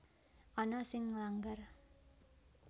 Ana sing nglanggar